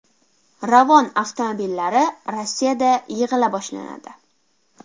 Ravon avtomobillari Rossiyada yig‘ila boshlanadi.